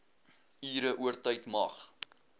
ure oortyd mag